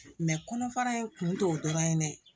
kɔnɔfara in kun t'o dɔrɔn ye dɛ